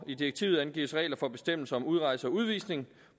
i direktivet angives regler for bestemmelser om udrejse og udvisning